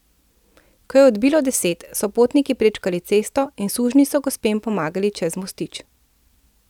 Ko je odbilo deset, so potniki prečkali cesto in sužnji so gospem pomagali čez mostič.